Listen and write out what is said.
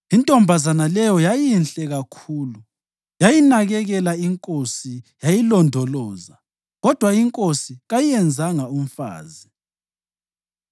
Intombazana leyo yayinhle kakhulu; yayinakekela inkosi yayilondoloza, kodwa inkosi kayiyenzanga umfazi.